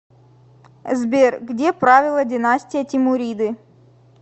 сбер где правила династия тимуриды